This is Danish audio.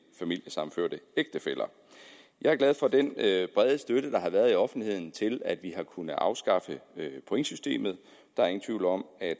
familiesammenførte ægtefæller jeg er glad for den brede støtte der har været i offentligheden til at vi har kunnet afskaffe pointsystemet der er ingen tvivl om at